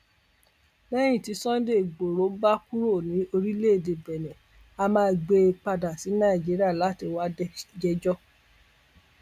lẹyìn tí sunday igboro bá kúrò ní orílẹèdè benne á máa gbé e padà sí nàìjíríà láti wáá jẹjọ